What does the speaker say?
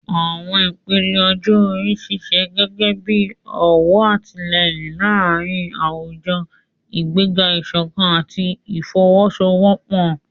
Àwọn ìpele ọjọ́ orí ń ṣiṣẹ́ gẹ́gẹ́ bí ọ̀wọ̀n àtìlẹ́yìn láàárín àwùjọ, ìgbéga ìṣọ̀kan àti ìfọwọ́sowọ́pọ̀.